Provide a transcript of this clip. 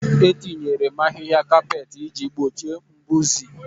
Etinyere m ahịhịa kapet iji gbochie mbuze